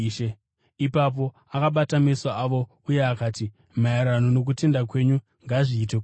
Ipapo akabata meso avo uye akati, “Maererano nokutenda kwenyu, ngazviitwe kwamuri.”